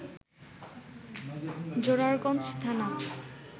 জোরারগঞ্জ থানা